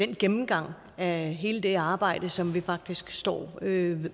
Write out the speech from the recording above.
den gennemgang af hele det arbejde som vi faktisk står med